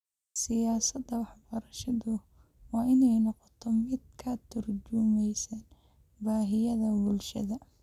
Siyaasadda waxbarashadu waa inay noqotaa mid ka tarjumaysa baahiyaha bulshada.